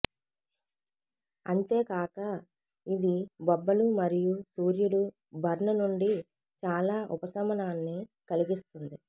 అంతేకాక ఇది బొబ్బలు మరియు సూర్యుడు బర్న్ నుండి చాలా ఉపశమనాన్ని కలిగిస్తుంది